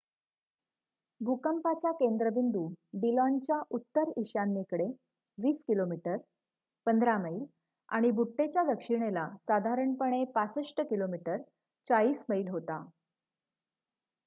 भूकंपाचा केंद्रबिंदू डिलॉनच्या उत्तर-ईशान्येकडे २० किमी १५ मैल आणि बुट्टेच्या दक्षिणेला साधारणपणे ६५ किमी ४० मैल होता